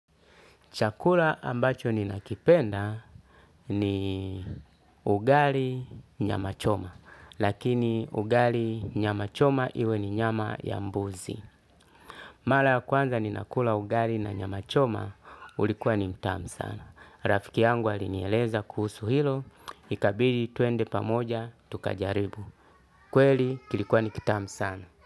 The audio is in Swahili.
Chakula ambacho ninakipenda ni ugali nyama choma. Lakini ugali nyama choma iwe ni nyama ya mbuzi. Mara ya kwanza nina kula ugali na nyama choma ulikuwa ni mtamu sana. Rafiki yangu alinieleza kuhusu hilo. Ikabidi twende pamoja tukajaribu. Kweli kilikuwa ni kitamu sana.